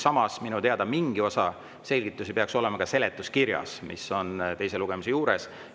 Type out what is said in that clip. Samas, minu teada on mingi osa selgitusi seletuskirjas, mis on teise lugemise juures.